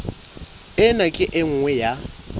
ena ke e nngwe ya